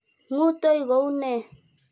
Ng'utoi kou nee?